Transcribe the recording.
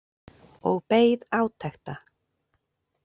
Og beið átekta.